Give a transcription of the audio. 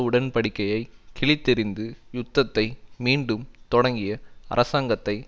உடன்படிக்கையை கிழித்தெறிந்து யுத்தத்தை மீண்டும் தொடங்கிய அரசாங்கத்தை